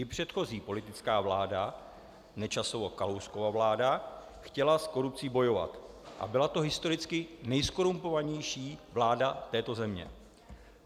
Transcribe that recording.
I předchozí politická vláda, Nečasova-Kalouskova vláda, chtěla s korupcí bojovat a byla to historicky nejzkorumpovanější vláda této země.